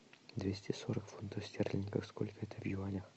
двести сорок фунтов стерлингов сколько это в юанях